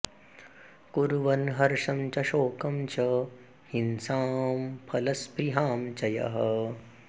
कुर्वन्हर्षं च शोकं च हिंसां फलस्पृहां च यः